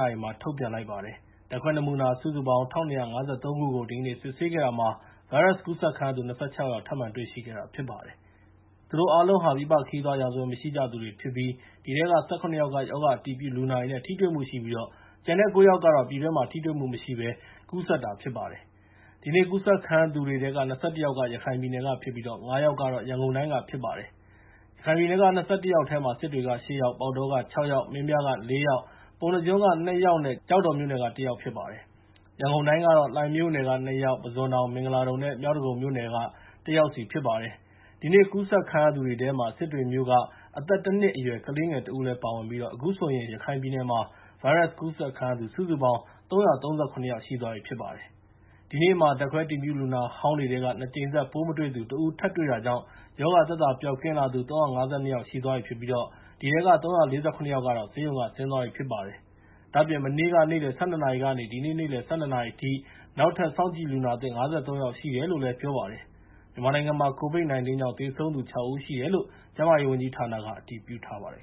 နာရီမှာ ထုတ်ပြန်လိုက်ပါတယ်။ ဓာတ်ခွဲနမူနာ ၁,၂၅၃ ခုကို ဒီကနေ့ စစ်ဆေးခဲ့တာမှာ ဗိုင်းရပ်စ်ကူးစက်ခံရသူ ၂၆ ယောက် ထပ်မံတွေ့ရှိခဲ့တာ ဖြစ်ပါတယ်။ သူတို့အားလုံးဟာ ပြည်ပခရီးသွားရာဇဝင် မရှိကြသူတွေဖြစ်ကြပြီး အဲဒီထဲက ၁၇ ယောက်က ရောဂါအတည်ပြုလူနာတွေနဲ့ ထိတွေ့မှုရှိပြီး ကျန်တဲ့ ၉ ယောက်ကတော့ ပြည်တွင်းမှာ ထိတွေ့မှုမရှိဘဲ ကူးစက်တာ ဖြစ်ပါတယ်။ ဒီနေ့ကူးစက်ခံရသူတွေထဲက ၂၁ ယောက်က ရခိုင်ပြည်နယ်ကဖြစ်ပြီး ၅ ယောက်က ရန်ကုန်တိုင်းက ဖြစ်ပါတယ်။ ရခိုင်ပြည်နယ်က ၂၁ ယောက်ထဲမှာ စစ်တွေက ၈ ယောက်၊ ပေါက်တောက ၆ ယောက်၊ မင်းပြားက ၄ ယောက်၊ ပုဏ္ဏားကျွန်းက ၂ ယောက်နဲ့ ကျောက်တော်က ၁ ယောက် ဖြစ်ပါတယ်။ ရန်ကုန်တိုင်းကတော့ လှိုင်မြို့နယ်က ၂ ယောက်၊ ပုဇွန်တောင်၊ မင်္ဂလာဒုံနဲ့ မြောက်ဒဂုံမြို့နယ်တွေက ၁ ယောက်စီဖြစ်ပါတယ်။ ဒီနေ့ကူးစက်ခံရသူတွေထဲမှာ စစ်တွေမြို့က အသက် ၁ နှစ်အရွယ် ကလေးငယ်တဦးလည်း ပါဝင်ပြီး အခုဆိုရင် ရခိုင်ပြည်နယ်မှာ ဗိုင်းရပ်စ်ကူးစက်ခံရသူ စုစုပေါင်း ၃၃၇ ယောက်ရှိသွားပြီ ဖြစ်ပါတယ်။ ဒီနေ့မှာ ဓာတ်ခွဲအတည်ပြု လူနာဟောင်းတွေထဲက ၂ ကြိမ်ဆက် ပိုးမတွေ့သူ ၁ ဦး တွေ့တာကြောင့် ရောဂါသက်သာပျောက်ကင်းသူ ၃၅၂ ယောက်ရှိသွားပြီဖြစ်ပြီး ၃၄၇ ယောက်က ဆေးရုံက ဆင်းသွားပြီဖြစ်ပါတယ်။ ဒါ့အပြင် မနေ့က နေ့လယ် ၁၂ နာရီကနေ ဒီနေ့ နေ့လယ်အထိ နောက်ထပ်စောင့်ကြည့်လူနာသစ် ၅၃ ယောက်ရှိတယ်လို့ ပြောပါတယ်။ မြန်မာနိုင်ငံမှာ COVID-19 ကြောင့် သေဆုံးသူ ၆ ဦးရှိတယ်လို့ ကျန်းမာရေးဝန်ကြီးဌာနက အတည်ပြုထားပါတယ်